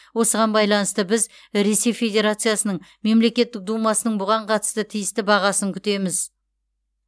осыған байланысты біз ресей федерациясының мемлекеттік думасының бұған қатысты тиісті бағасын күтеміз